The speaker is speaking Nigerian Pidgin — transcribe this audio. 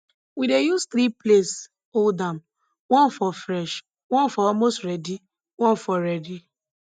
we dey use three place hold am one for fresh one for almost ready one for ready